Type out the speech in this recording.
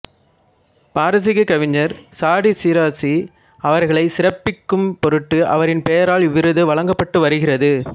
பாரசீக கவிஞர் சாடி சிராசி அவர்களைச் சிறப்பிக்கும் பொருட்டு அவரின் பெயரால் இவ்விருது வழங்கப்பட்டு வருகிறது